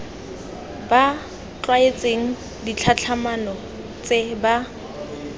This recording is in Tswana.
ba tlwaetse ditlhatlhamano tse ba